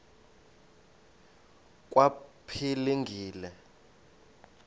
kwaphilingile